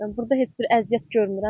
Burda heç bir əziyyət görmürəm.